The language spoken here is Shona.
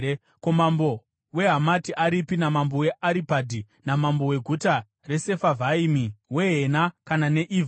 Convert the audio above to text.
Ko, mambo weHamati aripi, namambo weAripadhi, namambo weguta reSefarivhaimi, weHena kana neIvha?”